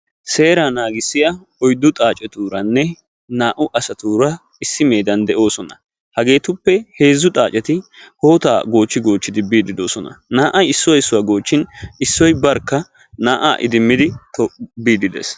Seeraa naagissiyaa oyddu xaaceturanne naa"u asatuura issi meedan de'oosona. hageetuppe heezzu xaaceti hootaa gochchi gochchi biidi doosona. naa"ay issuwaa goochchin issoy barkka naa"aa idimmidi biidi dees.